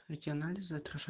эти анализы отража